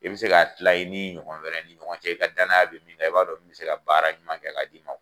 I bi se ka kila i ni ɲɔgɔn wɛrɛ ni ɲɔgɔn cɛ, i ka danaya be min kan, i b'a dɔn min mi se ka baara ɲɔgɔn kɛ k'a d'i ma.